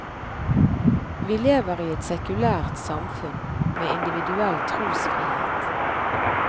Vi lever i et sekulært samfunn, med individuell trosfrihet.